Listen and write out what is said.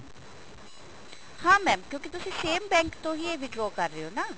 ਹਾਂ mam ਕਿਉਂਕਿ ਤੁਸੀਂ same bank ਤੋਂ ਹੀ ਇਹ withdraw ਕਰ ਰਹੇ ਹੋ ਨਾ